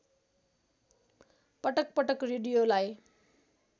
पटक पटक रेडियोलाई